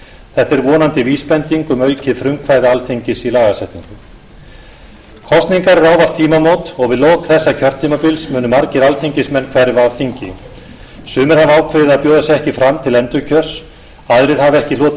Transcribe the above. þetta er vonandi vísbending um aukið frumkvæði alþingis í lagasetningu kosningar eru ávallt tímamót og við lok þessa kjörtímabils munu margir alþingismenn hverfa af þingi sumir hafa ákveðið að bjóða sig ekki fram til endurkjörs aðrir hafa ekki hlotið